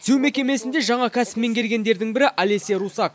түзеу мекемесінде жаңа кәсіп меңгергендердің бірі олеся русак